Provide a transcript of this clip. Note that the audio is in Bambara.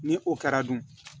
Ni o kɛra dun